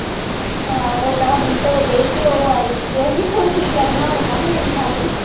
ਹਾਂ ਉਹ ਦਸ ਮਿੰਟ ਹੋ ਗਏ ਤੇ ਉਹ ਆਈ ਕਿ ਕਿੱਥੋਂ ਕੀ ਕਰਨਾ ਹੁਣ, ਮੈਂ ਇਉਂ ਹੀ ਨੱਪਦੇ।